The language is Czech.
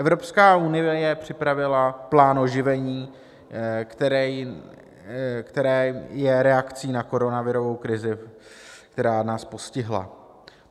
Evropská unie připravila plán oživení, které je reakcí na koronavirovou krizi, která nás postihla.